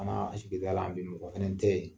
An ka sigida la bi mɔgɔ kelen te yen